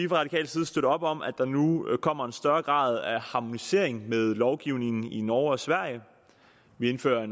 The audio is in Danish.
radikal side støtte op om at der nu kommer en større grad af harmonisering med lovgivningen i norge og sverige vi indfører